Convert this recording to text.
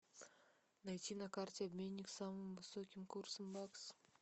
найти на карте обменник с самым высоким курсом бакса